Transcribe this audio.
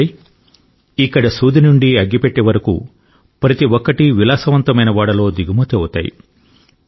అంటే ఇక్కడ సూది నుండి అగ్గి పెట్టె వరకు ప్రతి ఒక్కటీ విలాసవంతమైన ఓడలో దిగుమతి అవుతాయి